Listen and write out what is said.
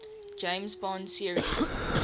james bond series